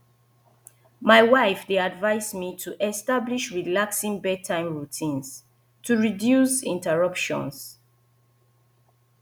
my wife dey advise me to establish relaxing bedtime routine to reduce interruptions